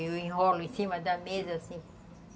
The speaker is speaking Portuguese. Eu enrolo em cima da mesa, assim.